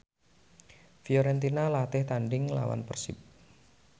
Fiorentina latih tandhing nglawan Persib